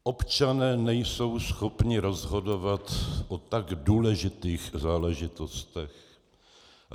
Občané nejsou schopni rozhodovat o tak důležitých záležitostech.